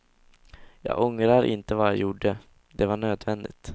Jag ångrar inte vad jag gjorde, det var nödvändigt.